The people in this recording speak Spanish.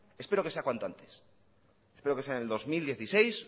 espero que sea cuanto antes espero que sea en el dos mil dieciséis